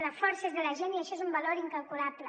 la força és de la gent i això és un valor incalculable